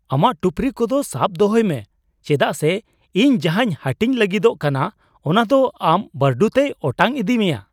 ᱟᱢᱟᱜ ᱴᱩᱯᱨᱤ ᱠᱚᱫᱚ ᱥᱟᱵ ᱫᱚᱦᱚᱭ ᱢᱮ, ᱪᱮᱫᱟᱜ ᱥᱮ ᱤᱧ ᱡᱟᱦᱟᱧ ᱦᱟᱹᱴᱤᱧ ᱞᱟᱹᱜᱤᱫᱚᱜ ᱠᱟᱱᱟ ᱚᱱᱟ ᱫᱚ ᱟᱢ ᱵᱷᱟᱨᱰᱩ ᱛᱮᱭ ᱚᱴᱟᱝ ᱤᱫᱤ ᱢᱮᱭᱟ ᱾